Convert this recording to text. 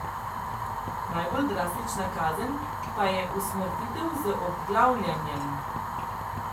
Najbolj drastična kazen pa je usmrtitev z obglavljanjem.